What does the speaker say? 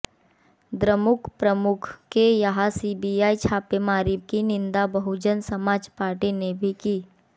द्रमुक प्रमुख के यहां सीबीआई छापेमारी की निंदा बहुजन समाज पार्टी ने भी की